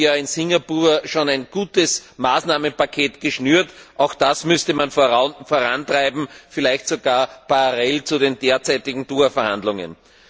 Wir haben in Singapur schon ein gutes Maßnahmenpaket geschnürt, auch das müsste man vorantreiben, vielleicht sogar parallel zu den derzeitigen Doha Verhandlungen.